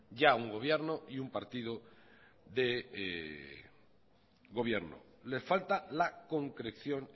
ya un gobierno y un partido de gobierno les falta la concreción